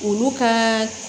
Olu ka